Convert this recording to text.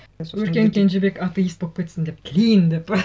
өркен кенжебек атеист болып кетсін деп тілеймін деп пе